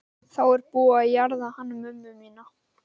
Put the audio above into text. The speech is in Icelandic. Þá er búið að jarða hana mömmu mína.